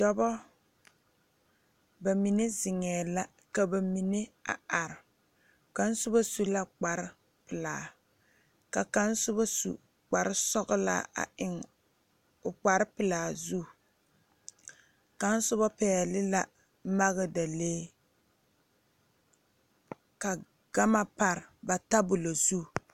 Dɔbɔ ba mine zeŋɛɛ la ka ba mine a are kaŋ sobɔ suvla kpare pelaa ka kaŋ sobɔ su kparesɔglaa a eŋ o kparepelaa zu kaŋ sobɔ pɛɛle la magdalee ka gama pare ba tabolɔ zu.